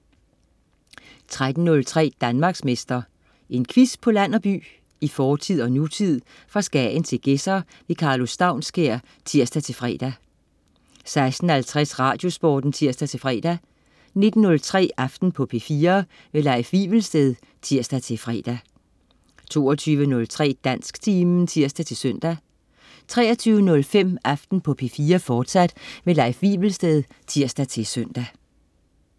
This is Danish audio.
13.03 Danmarksmester. En quiz på land og by, i fortid og nutid, fra Skagen til Gedser. Karlo Staunskær (tirs-fre) 16.50 Radiosporten (tirs-fre) 19.03 Aften på P4. Leif Wivelsted (tirs-fre) 22.03 Dansktimen (tirs-søn) 23.05 Aften på P4, fortsat. Leif Wivelsted (tirs-søn)